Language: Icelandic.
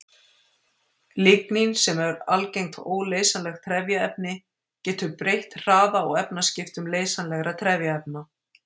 Lignín, sem er algengt óleysanlegt trefjaefni, getur breytt hraða og efnaskiptum leysanlegra trefjaefna.